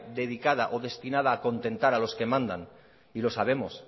dedicada o destinada a contentar a los que mandan y lo sabemos